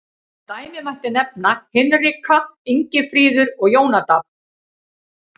Sem dæmi mætti nefna Hinrika, Ingifríður, Jónadab.